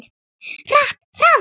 Hratt, hraðar.